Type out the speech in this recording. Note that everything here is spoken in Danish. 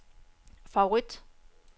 favorit